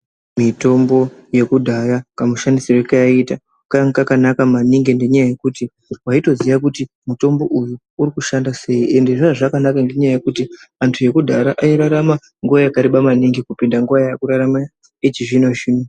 Mitombo yekudhaya kamushandisirwe kayaiita kainga kakanaka maningi ngenyaya yekuti waitoziya kuti mutombo uyu urikushanda sei ende zvaiya zvakanaka ngenyaya yekuti antu ekudhaya airarama nguwa yakareba maningi kupinda nguwa yakurarama echizvino-zvino.